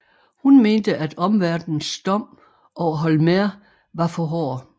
Hun mente at omverdens dom over Holmér var for hård